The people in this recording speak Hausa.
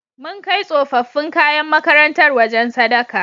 Mun kai tsofaffin kayan makarantar wajen sadaka.